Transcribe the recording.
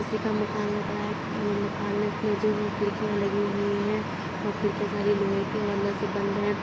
किसी का मकान लग रहा है | मकान में जो खिड़कियां लगी हुई हैं वो खिड़किया सारी लोहे की और अंदर से बंद हैं ।